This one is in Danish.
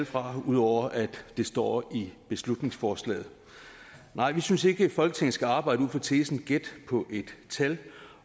fra ud over at det står i beslutningsforslaget vi synes ikke folketinget skal arbejde ud fra tesen gæt på et tal